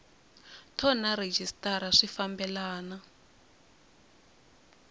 thoni na rhejisitara swi fambelena